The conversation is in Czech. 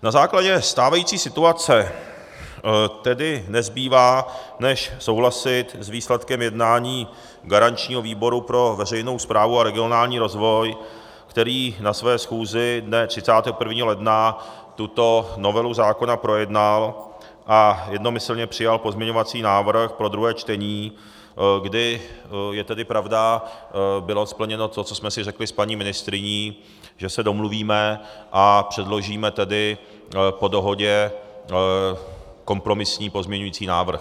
Na základě stávající situace tedy nezbývá než souhlasit s výsledkem jednání garančního výboru pro veřejnou správu a regionální rozvoj, který na své schůzi dne 31. ledna tuto novelu zákona projednal a jednomyslně přijal pozměňovací návrh pro druhé čtení, kdy je tedy pravda, bylo plněno to, co jsme si řekli s paní ministryní, že se domluvíme a předložíme tedy po dohodě kompromisní pozměňovací návrh.